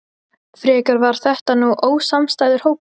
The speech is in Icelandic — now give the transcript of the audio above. Frekar var þetta nú ósamstæður hópur.